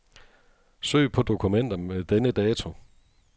Søg på dokumenter med denne dato.